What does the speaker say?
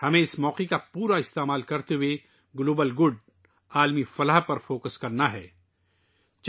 ہمیں اس موقع سے بھرپور استفادہ کرنا ہوگا اور عالمی بھلائی، عالمی بہبود پر توجہ مرکوز کرنی ہوگی